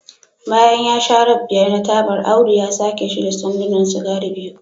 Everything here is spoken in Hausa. bayan ya sha rab biyar na tabar Audu ya sauke shi da sandunan sigari biyu